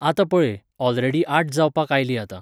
आतां पळय, ऑलरेडी आठ जावपाक आयलीं आतां.